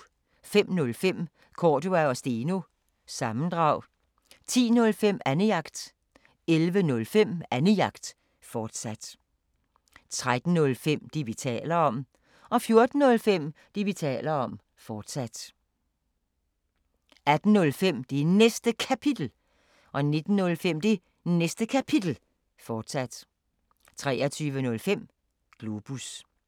05:05: Cordua & Steno – sammendrag 10:05: Annejagt 11:05: Annejagt, fortsat 13:05: Det, vi taler om 14:05: Det, vi taler om, fortsat 18:05: Det Næste Kapitel 19:05: Det Næste Kapitel, fortsat 23:05: Globus